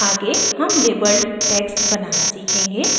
आगे हम labeled text बनाना सीखेंगे